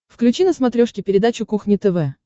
включи на смотрешке передачу кухня тв